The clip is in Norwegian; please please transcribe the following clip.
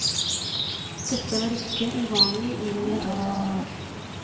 Dette var ikke uvanlig i orientalske strøk.